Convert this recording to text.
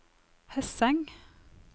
Hesseng